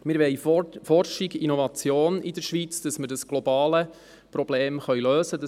Wir wollen in der Schweiz Forschung und Innovation, damit wir dieses globale Problem lösen können.